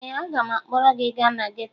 Ee, aga m akpọrọ gị gaa na geto